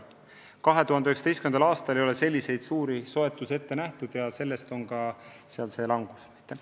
2019. aastal ei ole selliseid suuri oste ette nähtud ja sellest on ka see summa vähenemine.